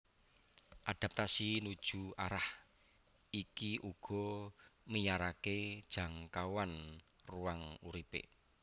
Adaptasi nuju arah iki uga miyaraké jangkauan ruang uripé